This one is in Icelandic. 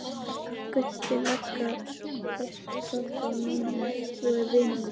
Gulli lögga þekkir pabba og mömmu og er vinur minn.